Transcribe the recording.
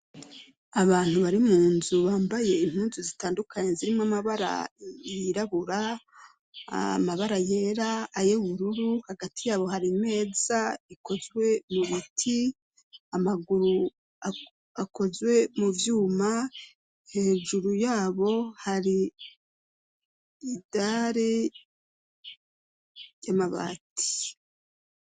Abantu bari mu nzu bambaye imkuzu zitandukanye zirimo amabara yirabura amabara yera ayewururu hagati yabo hari meza ikozwe mu biti amaguru akozwe mu vyuma hejuru yabo hari idare y'amabati.